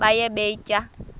baye bee tyaa